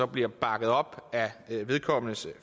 bliver bakket op af vedkommendes